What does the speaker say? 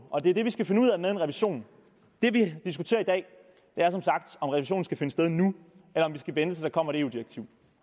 og det er det vi skal finde ud af med en revision det vi diskuterer i dag er som sagt om revisionen skal finde sted nu eller om vi skal vente til der kommer et eu direktiv